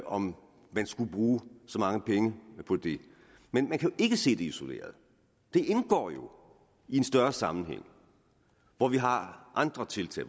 om man skulle bruge så mange penge på det men man kan ikke se det isoleret det indgår jo en større sammenhæng hvor vi har andre tiltag